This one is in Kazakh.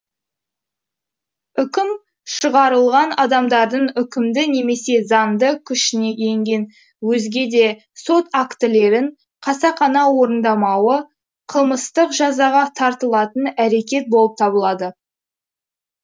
үкім шығарылған адамдардың үкімді немесе заңды күшіне енген өзге де сот актілерін қасақана орындамауы қылмыстық жазаға тартылатын әрекет болып табылады